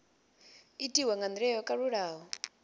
itiwa nga ndila yo kalulaho